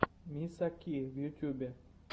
миса ки в ютьюбе